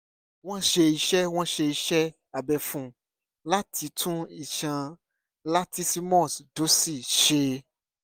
wọ́n ṣe iṣẹ́ wọ́n ṣe iṣẹ́ abẹ fún un láti tún iṣan latissimus dorsi ṣe